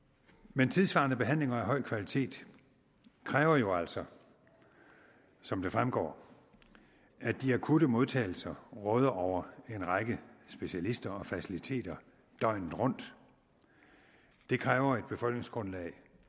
men tidssvarende behandlinger af høj kvalitet kræver jo altså som det fremgår at de akutte modtagelser råder over en række specialister og faciliteter døgnet rundt det kræver et befolkningsgrundlag